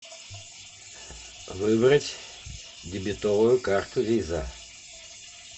выбрать дебетовую карту виза